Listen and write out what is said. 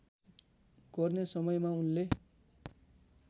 गर्ने समयमा उनले